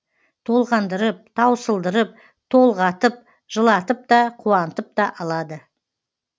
толғандырып таусылдырып толғатып жылатып та қуантып та алады